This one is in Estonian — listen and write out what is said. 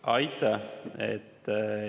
Aitäh!